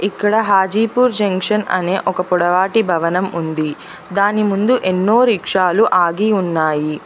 ఇక్కడ హాజీపూర్ జంక్షన్ అనే ఒక పొడవాటి భవనం ఉంది దాని ముందు ఎన్నో రిక్షాలు ఆగి ఉన్నాయి.